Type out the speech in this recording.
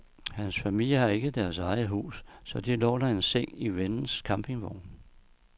Hans familie har ikke deres eget hus, så de låner en seng i vennens campingvogn.